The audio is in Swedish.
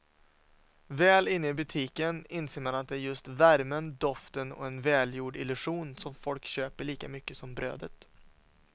Väl inne i butiken inser man att det är just värmen, doften och en välgjord illusion som folk köper lika mycket som brödet.